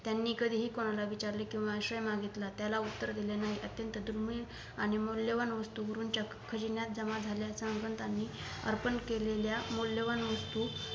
त्यांनी कधीही कुणाला विचारले किंवा आश्रय मागितले त्याला उत्तर दिले नाही अत्यंत दुर्मिळआणि मूल्यवान वस्तू गुरूंच्या खजिन्यात जमा झाल्या आसनातही त्यांनी अर्पण केलेल्या मूल्यवान वस्तू